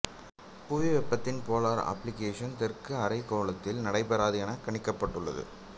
புவி வெப்பத்தின் polar amplification தெற்கு அரைகோளத்தில் நடைபெறாது என்று கணிக்கப்பட்டுள்ளது